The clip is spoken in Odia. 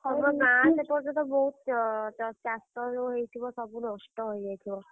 ହଁ ବା ଗାଁ ସେପଟେ ବହୁତ୍ ଚାଷ ଯୋଉ ହେଇଥିବ ସବୁ ନଷ୍ଟ ହେଇଯାଇଥିବ।